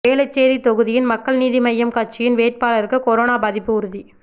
வேளச்சேரி தொகுதியின் மக்கள் நீதி மய்யம் கட்சியின் வேட்பாளருக்கு கொரோனா பாதிப்பு உறுதி